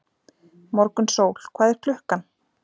Morgunsól, hvað er klukkan?